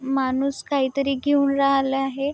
माणूस काहीतरी घेऊन राहिला आहे.